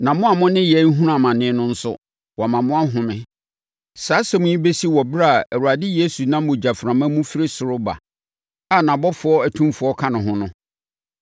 na mo a mo ne yɛn rehunu amane no nso, wama moahome. Saa asɛm yi bɛsi wɔ ɛberɛ a Awurade Yesu nam ogyaframa mu firi ɔsoro reba a nʼabɔfoɔ atumfoɔ ka ne ho no,